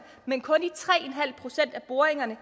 men kun i tre procent af boringerne